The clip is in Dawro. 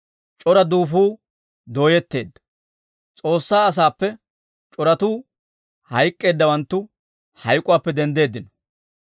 c'ora duufuu dooyetteedda. S'oossaa asaappe c'oratuu hayk'k'eeddawanttu, hayk'uwaappe denddeeddino.